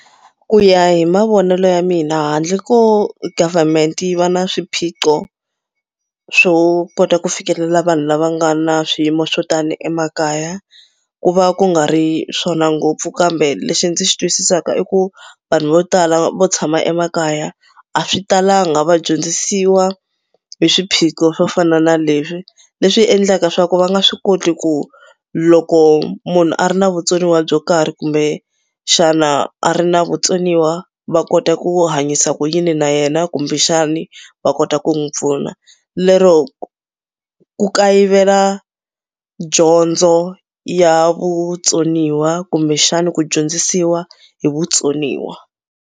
Ku ya hi mavonelo ya mina handle ko government yi va na swiphiqo swo kota ku fikelela vanhu lava nga na swiyimo swo tani emakaya ku va ku nga ri swona ngopfu kambe lexi ndzi xi twisisaka i ku vanhu vo tala vo tshama emakaya a swi talanga va dyondzisiwa hi swiphiqo swo fana na leswi. Leswi endlaka swa ku va nga swi koti ku loko munhu a ri na vutsoniwa byo karhi kumbexana a ri na vutsoniwa va kota ku hanyisa ku yini na yena kumbexani va kota ku n'wi pfuna. Lero ku kayivela dyondzo ya vutsoniwa kumbexani ku dyondzisiwa hi vutsoniwa.